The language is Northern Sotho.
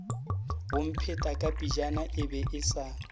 bomphetakapejana e be e sa